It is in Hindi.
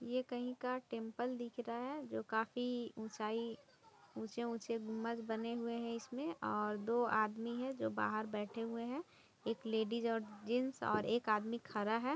ये कहीं का टेंपल दिख रहा है जो काफ़ी ऊंचाई ऊंचे ऊंचे गुंबद बने हुए हैं इसमें और दो आदमी हैं जो बाहर बैठे हुए हैं। एक लेडिज और एक जेन्ट्स और एक आदमी खारा है।